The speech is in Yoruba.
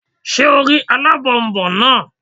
Ṣé o rí alábònboǹ náà?